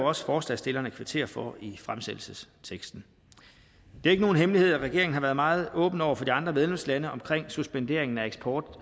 også forslagsstillerne kvittere for de i fremsættelsesteksten det er ikke nogen hemmelighed at regeringen har været meget åben over for andre medlemslande omkring suspenderingen af eksport